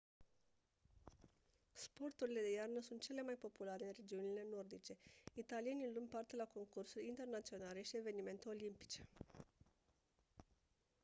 sporturile de iarnă sunt cele mai populare în regiunile nordice italienii luând parte la concursuri internaționale și evenimente olimpice